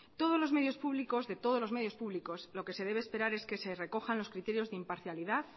de todos los medios públicos lo que se debe esperar es que se recojan los criterios de imparcialidad